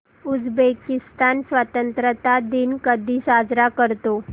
Uzbekistan स्वतंत्रता दिन कधी साजरा करतो